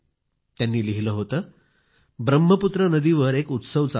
त्यांनी लिहिलं होतं ब्रह्मपुत्र नदीवर एक उत्सव चालू आहे